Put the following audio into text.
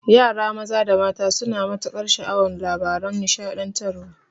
Yara maza da mata suna matukar sha'awan labaran nishaɗantarwa